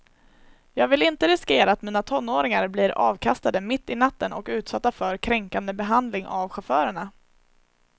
Jag vill inte riskera att mina tonåringar blir avkastade mitt i natten och utsatta för kränkande behandling av chaufförerna.